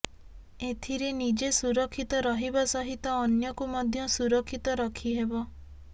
ଏଥିରେ ନିଜେ ସୁରକ୍ଷିତ ରହିବା ସହିତ ଅନ୍ୟକୁ ମଧ୍ୟ ସୁରକ୍ଷିତ ରଖିହେବ